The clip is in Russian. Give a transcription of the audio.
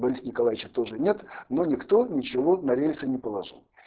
бориса николаевича тоже нет но никто ничего на рельсы не положил